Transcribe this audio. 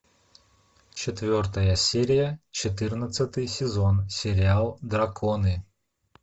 четвертая серия четырнадцатый сезон сериал драконы